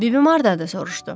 Bibim hardadır, soruşdu.